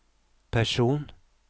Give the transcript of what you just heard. person